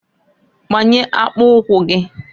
Gbanye akpụkwụ gịǃ